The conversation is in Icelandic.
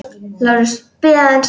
LÁRUS: Bíðið aðeins!